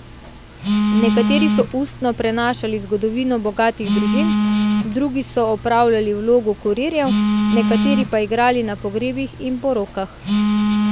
Nekateri so ustno prenašali zgodovino bogatih družin, drugi so opravljali vlogo kurirjev, nekateri pa igrali na pogrebih in porokah.